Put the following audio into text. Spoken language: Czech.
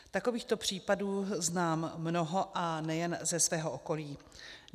Takovýchto případů znám mnoho a nejen ze svého okolí.